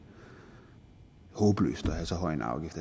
håbløst at have så høj en afgift